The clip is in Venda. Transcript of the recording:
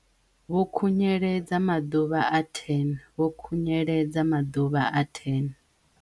Vho khunyeledza maḓuvha a 10 Vho khunyeledza maḓuvha a 10